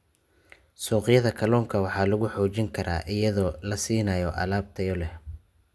Suuqyada kalluunka waxaa lagu xoojin karaa iyadoo la siinayo alaab tayo leh.